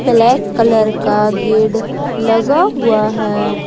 Black colour का gate लगा हुआ है।